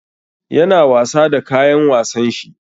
Yana wasa da kayan wasan shi.